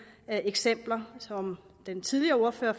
eksempler fra som den tidligere ordfører